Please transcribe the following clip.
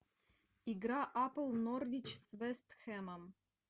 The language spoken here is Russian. игра апл норвич с вест хэмом